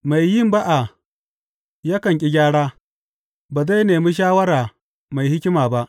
Mai yin ba’a yakan ƙi gyara; ba zai nemi shawara mai hikima ba.